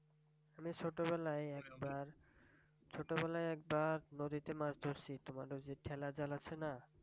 আমি ছোটবেলায় একবার ছোটবেলায় একবার নদীতে মাছ ধরছি তোমার ওই যে ঠেলা জাল আছে না?